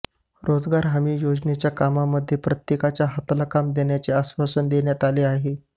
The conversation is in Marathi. रोजगार हमी योजनेच्या कामामध्ये प्रत्येकाच्या हाताला काम देण्याचे आश्वासन देण्यात आले आहे